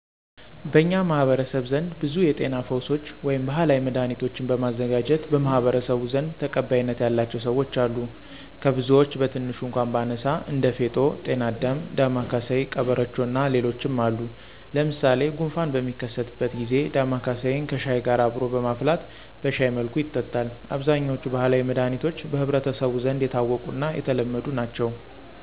በኛ ማህበረሰብ ዘንድ ብዙ የጤና ፈውሶች ወይም ባህላዊ መዳህኒቶችን በማዘጋጀት ለማህበረሰቡ ዘንድ ተቀባይነት ያላቸው ሰወች አሉ። ከብዙወች ቀትንሹ እኳ ባነሳ እንደ ፌጦ፣ ቅናዳም፣ ዳማ ከስይ ቀበሮቾ እና ሌሎችም አሉ። ለምሳሌ፣ ጉንፋን በሚከሰትበት ጊዚ ዳማከስይን ከሽሀይ ጋር አብሮ በማፍላት በሸሀይ መልኩ ይጠጣል። አብዛኛወች ባህላዊ መዳኒቶች በህብረተሰቡ ዘንድ የታወቁና የተለመዱ ናቸው።